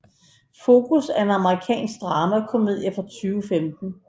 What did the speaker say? Focus er en amerikansk dramakomedie fra 2015